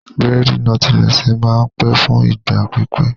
Bírèèdì nọ́tílẹ́ẹ̀sì máa n pẹ́ fún ìgbà pípẹ́